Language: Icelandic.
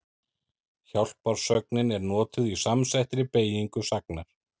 Hjálparsögnin er notuð í samsettri beygingu sagnar.